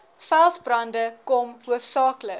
veldbrande kom hoofsaaklik